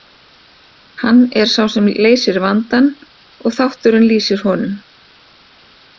Hann er sá sem leysir vandann og þátturinn lýsir honum.